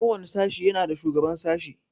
Ko wani sashi yana da shugaban sashi.